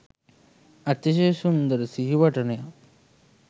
අතිශය සුන්දර සිහිවටනයක්